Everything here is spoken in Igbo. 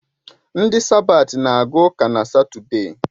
Ndị sabat na aga ụka na Satọde